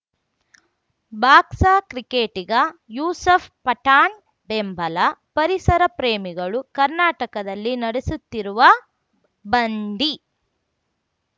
ಬಾಕ್ಸ್‌ಕ್ರಿಕೆಟಿಗ ಯೂಸಫ್‌ ಪಠಾಣ್‌ ಬೆಂಬಲ ಪರಿಸರ ಪ್ರೇಮಿಗಳು ಕರ್ನಾಟಕದಲ್ಲಿ ನಡೆಸುತ್ತಿರುವ ಬಂಡೀ